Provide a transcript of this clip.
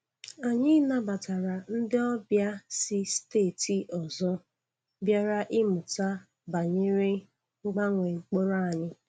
Anyị nabatara ndị ọbịa si steeti ọzọ bịara ịmụta banyere mgbanwe mkpụrụ anyị